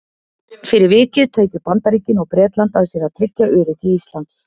Fyrir vikið tækju Bandaríkin og Bretland að sér að tryggja öryggi Íslands.